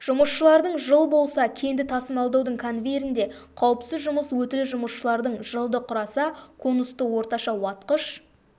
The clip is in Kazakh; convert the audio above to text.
жұмысшылардың жыл болса кенді тасымалдаудың конвейерінде қауіпсіз жұмыс өтілі жұмысшылардың жылды құраса конусты орташа уатқыш